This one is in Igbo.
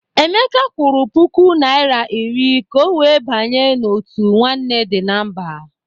Emeka kwụrụ puku naịra iri ka ọ wee banye n'òtù Nwanne Dị na Mba.